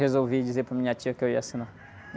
Resolvi dizer para minha tia que eu ia assinar.